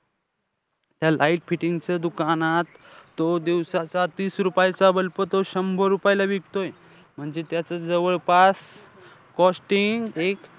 त्या light fitting च्या दुकानात तो दिवसाचा तीस रुपयाचा bulb तो शंभर रुपयाला विकतोय. म्हणजे त्याचं जवळपास costing,